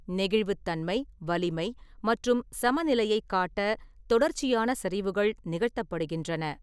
நெகிழ்வுத்தன்மை, வலிமை மற்றும் சமநிலையைக் காட்ட தொடர்ச்சியான சரிவுகள் நிகழ்த்தப்படுகின்றன.